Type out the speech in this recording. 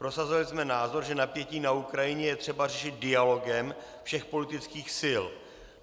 Prosazovali jsme názor, že napětí na Ukrajině je třeba řešit dialogem všech politických sil.